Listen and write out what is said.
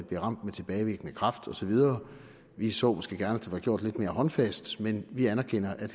bliver ramt med tilbagevirkende kraft og så videre vi så måske gerne var gjort lidt mere håndfast men vi anerkender at